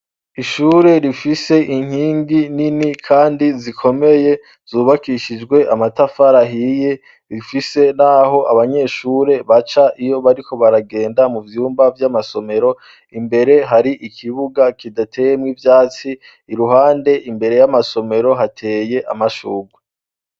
Ishure rifise inkingi nini kandi zikomeye, zubakishijwe amatafari ahiye, rifise n'aho abanyeshure baca iyo bariko baragenda mu vyumba vy'amasomero. Imbere har'ikibuga kidateyemwo ivyatsi. Iruhande imbere y'amasomero, hateye amashurwe.